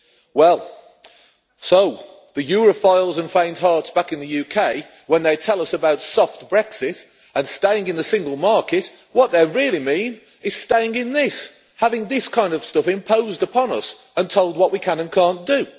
Well, the Europhiles and faint hearts back in the UK, when they tell us about soft Brexit and staying in the Single Market, what they really mean is staying in this having this kind of stuff imposed upon us and told what we can and cannot do.